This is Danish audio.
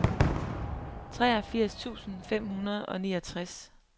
treogfirs tusind fem hundrede og niogtres